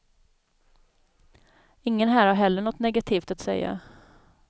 Ingen här har heller något negativt att säga.